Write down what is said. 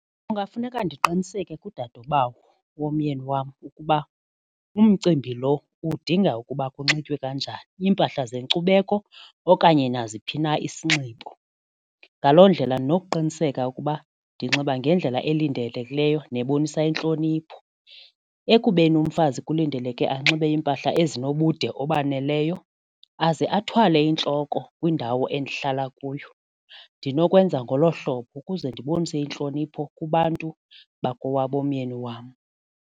Kungafuneka ndiqiniseke kudadobawo womyeni wam ukuba umcimbi lo udinga ukuba kunxitywe kanjani, iimpahla zenkcubeko okanye naziphi na isinxibo, ngaloo ndlela ndinokuqiniseka ukuba ndinxiba ngendlela elindelekileyo nebonisa intlonipho. Ekubeni umfazi kulindeleke anxibe iimpahla ezinobude obaneleyo aze athwale entloko kwindawo endihlala kuyo ndinokwenza ngolo hlobo ukuze ndibonise intlonipho kubantu bakowabomyeni wam.